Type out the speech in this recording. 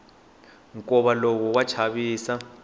nkova lowu wa chavisa